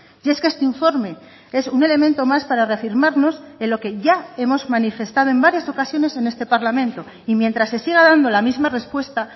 y es que este informe es un elemento más para reafirmarnos en lo que ya hemos manifestado en varias ocasiones en este parlamento y mientras se siga dando la misma respuesta